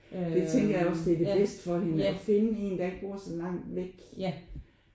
Det tænker jeg også det er det bedste for hende at finde en der ikke bor så langt væk